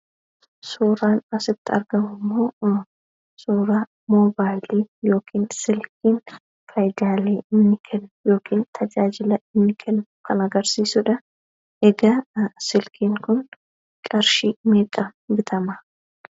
Suuraan asitti argamu immoo suuraa moobaayilii yookiin silkiin fayidaaleen inni kennu yookiin tajaajila inni kennu kan agarsiisudha. Egaa silkiin kun qarshii meeqaan bitama?